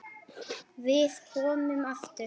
Við komum aftur.